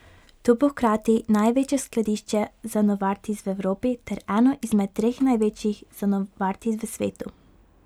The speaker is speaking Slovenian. To bo hkrati največje skladišče za Novartis v Evropi ter eno izmed treh največjih za Novartis v svetu.